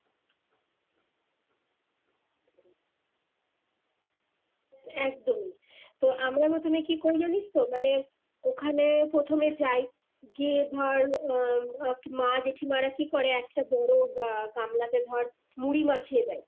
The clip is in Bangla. একদমই তো আমার প্রথমে কি করে জানিস তো মানে ওখানে প্রথমে যাই গিয়ে ধর আহ মা জেঠিমারা কি করে একটা বড় গা~ গামলাতে ধর মুড়ি মাখিয়ে দেয়।